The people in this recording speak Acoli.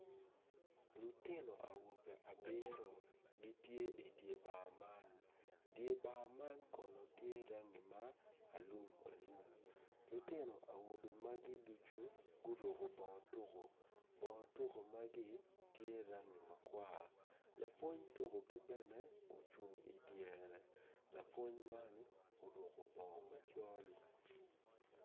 Lutino awobe abiro gitye idi bar man dye bar man kono tye rangi ma alumalum lutino awobe magi ducu guruko bongo tuko bongo tuko magi tye rangi makwar lapwony tukogi bene ocung idyere lapwony man oruko bongo macol.